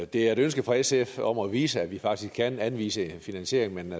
det er et ønske fra sf om at vise at vi faktisk kan anvise en finansiering men